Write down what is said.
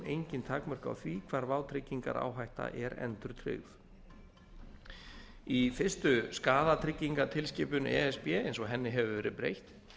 engin takmörk á því hvar vátryggingaráhætta er endurtryggð í fyrsta skaðatryggingatilskipun e s b eins og henni hefur verið breytt